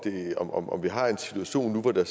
er om vi har en situation nu hvor der